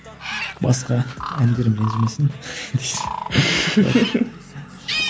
басқа әндерім ренжімесін дейсің